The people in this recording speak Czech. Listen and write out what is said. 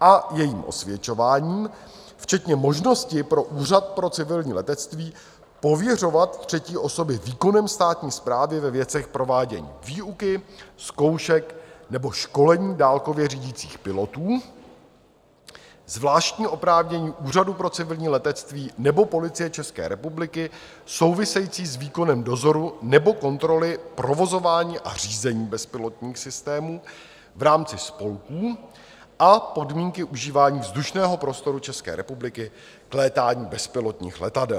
a jejím osvědčováním, včetně možnosti pro Úřad pro civilní letectví pověřovat třetí osoby výkonem státní správy ve věcech provádění výuky, zkoušek nebo školení dálkově řídících pilotů, zvláštní oprávnění Úřadu pro civilní letectví nebo Policie České republiky související s výkonem dozoru nebo kontroly provozování a řízení bezpilotních systémů v rámci spolků a podmínky užívání vzdušného prostoru České republiky k létání bezpilotních letadel.